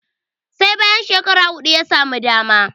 sai bayan shekara hudu ya samu dama